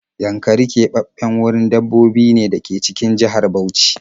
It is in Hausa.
Yankari keɓaɓɓen wurin dabbobi ne da yake cikin jihar Bauchi